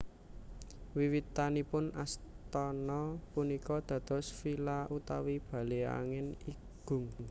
Wiwitanipun astana punika dados villa utawi bale angin igung